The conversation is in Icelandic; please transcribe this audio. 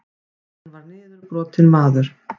Hann var niðurbrotinn maður.